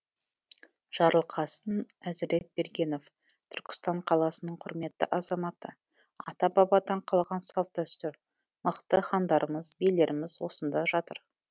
жарылқасын әзіретбергенов түркістан қаласының құрметті азаматы ата бабадан қалған салт дәстүр мықты хандарымыз билеріміз осында жатыр